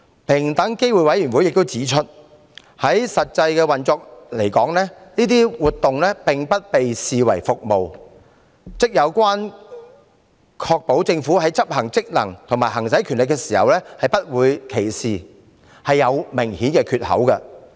平機會亦指出，以實際運作而言，上述活動不被視為服務，也就是說，關於確保政府在執行職能和行使權力時不會歧視，是有明顯的缺口。